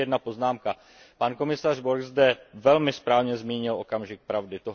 A ještě jedna poznámka, pan komisař Borg zde velmi správně zmínil okamžik pravdy.